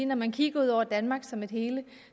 når man kigger ud over danmark som et hele